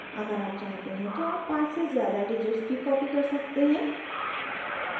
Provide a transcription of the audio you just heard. अगर आप चाहते हैं तो आप पाँच से ज़्यादा digits भी copy कर सकते हैं